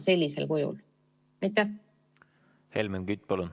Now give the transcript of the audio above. Helmen Kütt, palun!